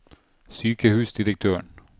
sykehusdirektøren